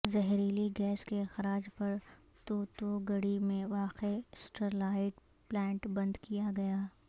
زہریلی گیس کے اخراج پر توتو گڈی میں واقع اسٹرلائیٹ پلانٹ بند کیا گیا